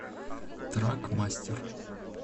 трак мастер